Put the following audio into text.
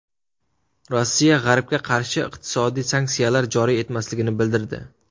Rossiya G‘arbga qarshi iqtisodiy sanksiyalar joriy etmasligini bildirdi.